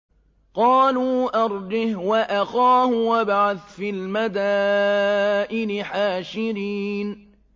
قَالُوا أَرْجِهْ وَأَخَاهُ وَابْعَثْ فِي الْمَدَائِنِ حَاشِرِينَ